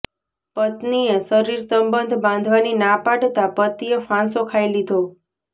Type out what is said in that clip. પત્નીએ શરીરસંબંધ બાંધવાની ના પાડતા પતિએ ફાંસો ખાઈ લીધો